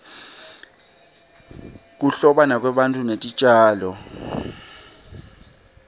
kuhlobana kwebantu netitjalo